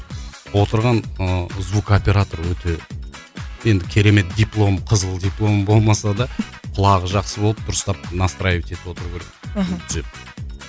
отырған ыыы звукоператор өте енді керемет диплом қызыл дипломы болмаса да құлағы жақсы болып дұрыстап настраивать етіп отыру керек мхм түзеп